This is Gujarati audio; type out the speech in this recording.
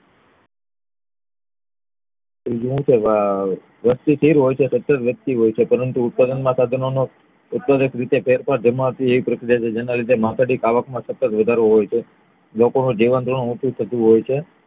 ત્રીજું શું હોય છે આ વ્યક્તિ હોય છે પરંતુ ઉત્પાદન માં સાધનો નો ફેરફાર થવાથી એવી પ્રક્રિયા છે જેના લીધે માથાદીઠ આવક માં સતત વધારો હોય છે લોકોનું જીવનધોરણ ઉંચુ થતું જાય છ